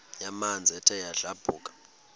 yamanzi ethe yadlabhuka